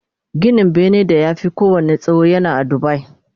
Ginin benen da ya Fi kowanne tsawo yana a Dubai